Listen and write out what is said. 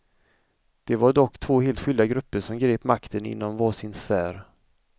Det var dock två helt skilda grupper som grep makten inom var sin sfär.